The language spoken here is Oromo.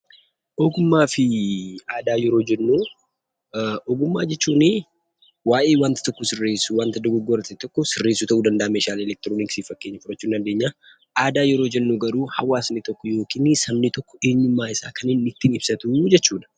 Ogummaa fi aadaa yeroo jennu, ogummaa jechuunii waayee wanta tokko sirreessuu, wanta dogoggora ta'e tokko sirreessuu ta'uu danda'a (meeshaalee elektirooniksii fakkeenya fudhachuu ni dandeenya). Aadaa yeroo jennu garuu hawaasni tokko (sabni tokko) eenyummaa isaa kan inni ittiin ibsatu jechuu dha.